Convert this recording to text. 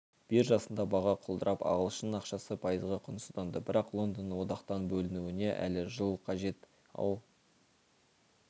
биржасында баға құлдырап ағылшын ақшасы пайызға құнсызданды бірақ лондонның одақтан бөлінуіне әлі жыл қажет ал